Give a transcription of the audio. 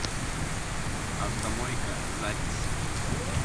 автомойка запись